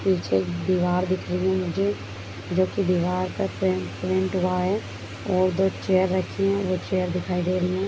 पीछे एक दीवार दिख रही है मुझे जो की दीवार का पेंट प्रिंट हुआ है और दो चेयर रखी हैं वो चेयर दिखाई दे रही हैं।